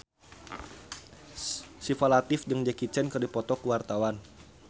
Syifa Latief jeung Jackie Chan keur dipoto ku wartawan